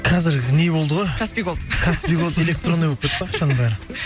қазіргі не болды ғой каспий голд каспий голд электронный болып кетті ғой ақшаның бәрі